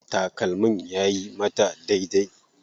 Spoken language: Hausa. Takalmin yayi mata daidai.